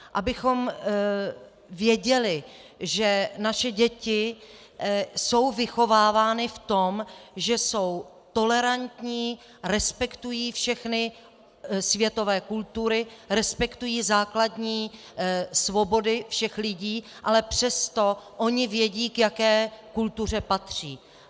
Abychom věděli, že naše děti jsou vychovávány v tom, že jsou tolerantní, respektují všechny světové kultury, respektují základní svobody všech lidí, ale přesto ony vědí, k jaké kultuře patří.